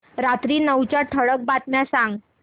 रात्री नऊच्या ठळक बातम्या सांग